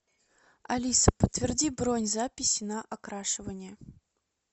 алиса подтверди бронь записи на окрашивание